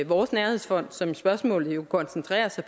vores nærhedsfond som spørgsmålet jo koncentrerer sig